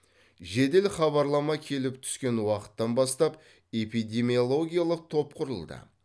жедел хабарлама келіп түскен уақыттан бастап эпидемиологиялық топ құрылды